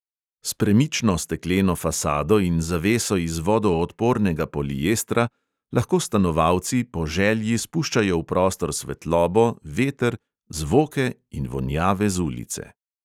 S premično stekleno fasado in zaveso iz vodoodpornega poliestra lahko stanovalci po želji spuščajo v prostor svetlobo, veter, zvoke in vonjave z ulice.